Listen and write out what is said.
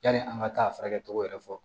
Yani an ka taa a furakɛ cogo yɛrɛ fɔ